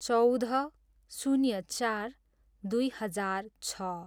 चौध, शून्य चार, दुई हजार छ